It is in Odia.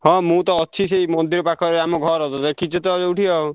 ହଁ ମୁଁ ତ ଅଛି ସେଇ ମନ୍ଦିର ପାଖରେ ଆମ ଘର ତ ଦେଖିଛୁ ତ ଯୋଉଠି ଆଉ।